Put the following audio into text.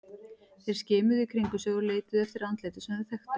Þeir skimuðu í kringum sig og leituðu eftir andlitum sem þeir þekktu.